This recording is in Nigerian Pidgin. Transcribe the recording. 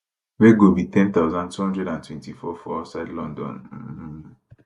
wey go be 10224 for outside london um